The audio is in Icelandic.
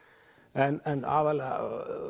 en